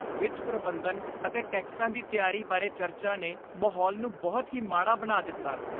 ਵਿੱਤ ਪ੍ਰਬੰਧਨ ਅਤੇ ਟੈਕਸਾਂ ਦੀ ਤਿਆਰੀ ਬਾਰੇ ਚਰਚਾ ਨੇ ਮਾਹੌਲ ਨੂੰ ਬਹੁਤ ਹੀ ਮਾੜਾ ਬਣਾ ਦਿੱਤਾ।